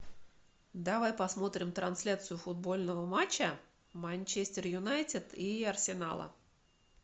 давай посмотрим трансляцию футбольного матча манчестер юнайтед и арсенала